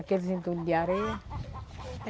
Aqueles entulhos de areia.